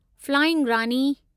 flying Rani